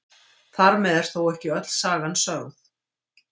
Þar með er þó ekki öll sagan sögð.